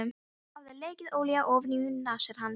Það hafði lekið olía ofaní nasir hans.